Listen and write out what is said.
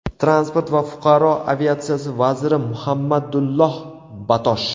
Transport va fuqaro aviatsiyasi vaziri Muhammadulloh Batosh.